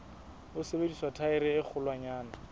ho sebedisa thaere e kgolwanyane